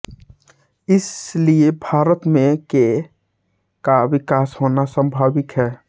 इसलिए भारत में के का विकास होना स्वाभाविक है